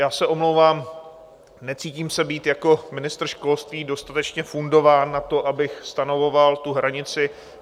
Já se omlouvám, necítím se být jako ministr školství dostatečně fundován na to, abych stanovoval tu hranici.